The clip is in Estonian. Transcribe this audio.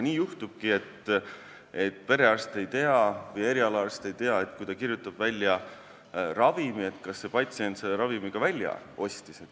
Nii juhtubki, et perearst või erialaarst ei tea, kas siis, kui ta kirjutab välja ravimi, see patsient selle ravimi ka välja ostis.